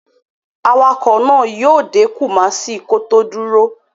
Awakọ̀ náà yíó dé Kumasi kó tó dúró